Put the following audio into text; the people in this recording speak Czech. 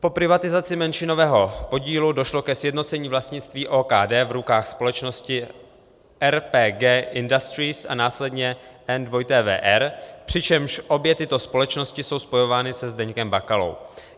Po privatizaci menšinového podílu došlo ke sjednocení vlastnictví OKD v rukách společnosti RPG Industries a následně NWR, přičemž obě tyto společnosti jsou spojovány se Zdeňkem Bakalou.